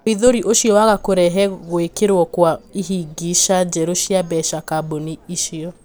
ũhithũri ũcio waaga kũrehe guikirwo kwa ihĩngisha njerũ cia mbeca kabuni -ini icio.